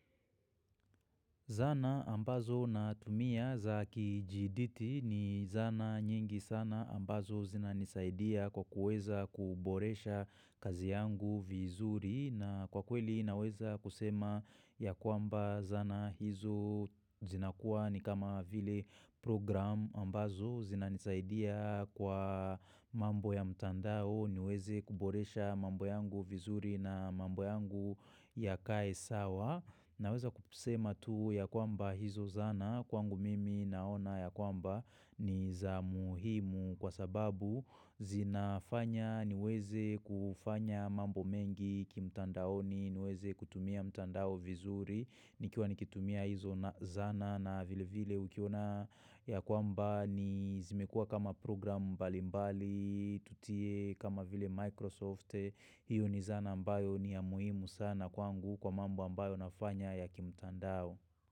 Zana ambazo natumia za kijiditi ni zana nyingi sana ambazo zina nisaidia kwa kuweza kuboresha kazi yangu vizuri na kwa kweli naweza kusema ya kwamba zana hizo zina kuwa ni kama vile program ambazo zina nisaidia kwa mambo ya mtandao niweze kuboresha mambo yangu vizuri na mambo yangu yakae sawa. Naweza kusema tu ya kwamba hizo zana kwangu mimi naona ya kwamba ni za muhimu kwa sababu zinafanya niweze kufanya mambo mengi kimtandaoni niweze kutumia mtandao vizuri nikiwa nikitumia hizo zana na vile vile ukiona ya kwamba ni zimekua kama program mbalimbali tutie kama vile Microsoft. Hiyo ni zana ambayo ni ya muhimu sana kwangu kwa mambo ambayo nafanya ya kimtandao.